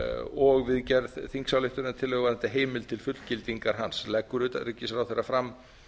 og við gerð þingsályktunartillögu varðandi heimild til fullgildingu hans leggur utanríkisráðherra fram